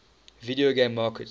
video game market